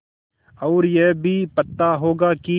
और यह भी पता होगा कि